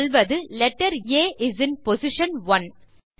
சொல்வது letter A is in position one